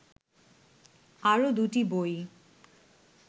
আরও দুটি বই